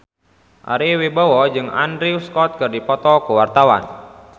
Ari Wibowo jeung Andrew Scott keur dipoto ku wartawan